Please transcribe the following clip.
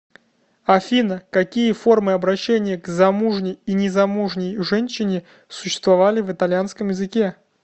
афина какие формы обращения к замужней и незамужней женщине существовали в итальянском языке